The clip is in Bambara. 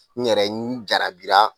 N yɛrɛ n jarabira!